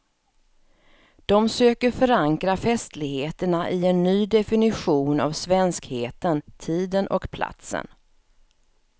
De söker förankra festligheterna i en ny definition av svenskheten, tiden och platsen.